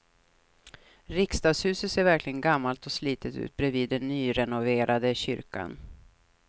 Riksdagshuset ser verkligen gammalt och slitet ut bredvid den nyrenoverade kyrkan.